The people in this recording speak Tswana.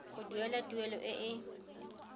go duela tuelo e e